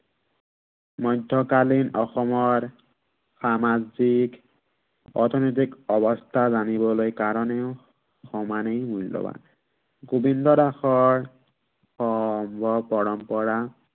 মধ্য়কালীন অসমৰ সামাজিক অৰ্থনৈতিক অৱস্থা জানিবলে কাৰনেও, সমানেই মূল্য়ৱান। গোৱিন্দ দাসৰ পৰম্পৰা